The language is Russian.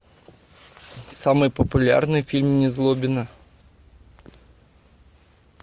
самый популярный фильм незлобина